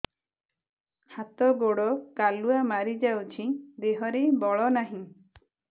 ହାତ ଗୋଡ଼ କାଲୁଆ ମାରି ଯାଉଛି ଦେହରେ ବଳ ନାହିଁ